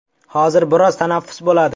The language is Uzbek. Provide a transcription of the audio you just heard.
Hozir biroz tanaffus bo‘ladi.